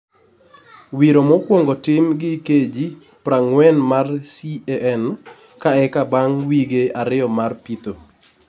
Wiro mokwongo tim gi KG prangwen mar CAN ka eka bang wige ariyo mar pitho.